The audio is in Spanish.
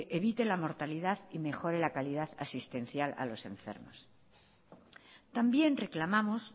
evite la mortalidad y mejore la calidad asistencial a los enfermos también reclamamos